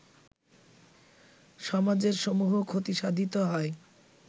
সমাজের সমূহ ক্ষতিসাধিত হয়